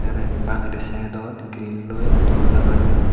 te aro indi bangedi side dot grilloi doorja baniyon.